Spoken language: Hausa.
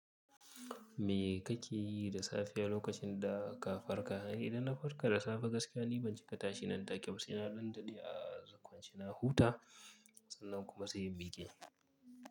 Me kake yi da safiya lokacin da ka farka? Idan na farka da safe gaskiya ni ban ci katashi nan take ba. He na dan dade a kwance na huta sannan kuma sai in miƙe.